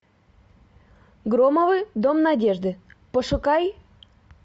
громовы дом надежды пошукай